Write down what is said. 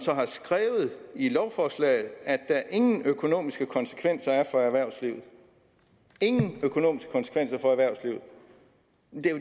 har skrevet i lovforslaget at der ingen økonomiske konsekvenser er for erhvervslivet ingen økonomiske konsekvenser for erhvervslivet